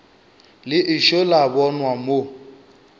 le ešo la bonwa mo